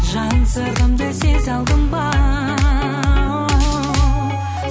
жан сырымды сезе алдың ба оу